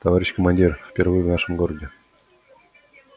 товарищ командир впервые в нашем городе